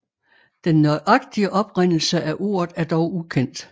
Den nøjagtige oprindelse af ordet er dog ukendt